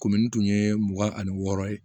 Komi n tun ye mugan ani wɔɔrɔ ye